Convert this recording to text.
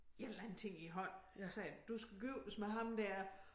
En eller anden ting i æ hånd så sagde han du skal giftes med ham der